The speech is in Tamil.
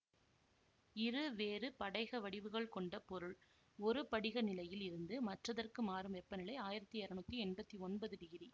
இரு வேறு படைகவடிவுகள் கொண்ட பொருள் ஒரு படிகநிலையில் இருந்து மற்றதற்கு மாறும் வெப்பநிலை ஆயிரத்தி இருநூத்தி எம்பத்தி ஒன்பது டிகிரி